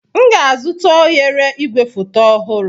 M ga-azụta oghere igwefoto ọhụrụ.